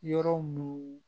Yɔrɔ mun